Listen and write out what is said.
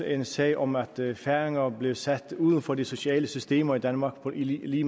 en sag om at færinger blev sat uden for de sociale systemer i danmark i